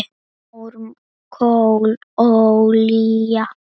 Mór, kol, olía